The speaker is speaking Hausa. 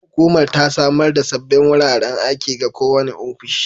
Hukumar ta samar da sabbin wuraren aiki ga kowane ofishi